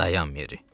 Dayan Merri.